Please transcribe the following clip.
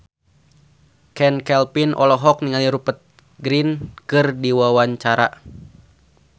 Chand Kelvin olohok ningali Rupert Grin keur diwawancara